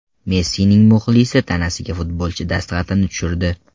Messining muxlisi tanasiga futbolchi dastxatini tushirdi.